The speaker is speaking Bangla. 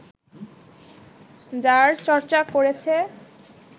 যার চর্চা করেছে